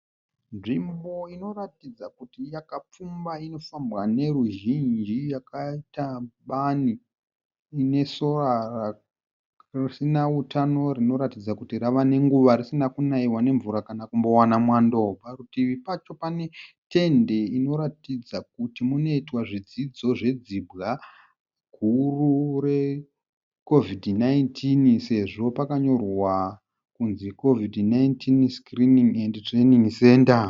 Nzvimbo inoratidza kuti yakapfumba inofambwa ne ruzhinji yakaita bani. Inesora risina utano rinoratidza kuti rava nenguva risina kunaiwa nemvura kana kumbowana mwando . Parutivi pacho pane tende inoratidza kuti munoitwa zvidzidzo zve dzibwa guru re COVID 19 sezvo pakanyorwa kunzi COVID 19 screening and Training Centre.